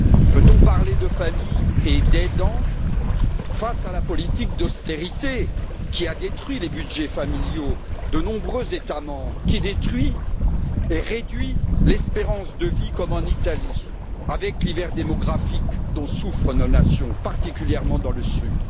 Peut on parler de familles et d'aidants face à la politique d'austérité qui a détruit les budgets familiaux de nombreux États membres, qui détruit et réduit l'espérance de vie, comme en Italie, avec l'hiver démographique dont souffrent nos nations, particulièrement dans le sud?